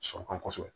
Sɔrɔ kan kosɛbɛ